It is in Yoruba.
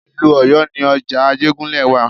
Ìlú Ọ̀yọ́ ni ọjà Ajégúnlẹ̀ wa.